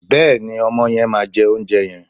Bẹ́ẹ̀ni, ọmọ yẹn máa jẹ oúnjẹ yẹn.